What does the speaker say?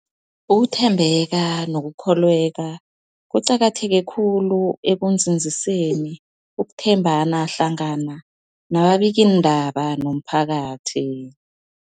Ukuthembeka nokukholweka kuqakatheke khulu ekunzinziseni ukuthembana hlangana kwababikiindaba nomphakathi.